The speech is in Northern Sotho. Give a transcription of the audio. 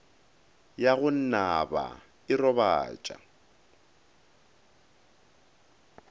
ya go naba e robatša